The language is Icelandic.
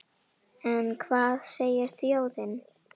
En hvað segir þjóðin?